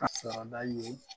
Ka sarada ye